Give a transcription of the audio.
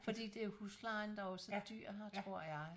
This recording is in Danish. Fordi det huslejen der jo er så dyr her tror jeg